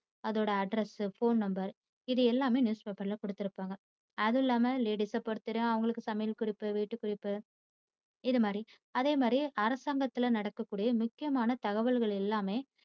அதோட address phone number இது எல்லாமே news Paper ல கொடுத்திருப்பாங்க. அதில்லாம ladies அ பொறுத்தவரைக்கும் அவங்களுக்கு சமையல் குறிப்பு வீட்டு குறிப்பு இதுமாதிரி. அதேமாதிரி அரசாங்கத்துல்ல நடக்கக்கூடிய முக்கியமான தகவல்கள் எல்லாமே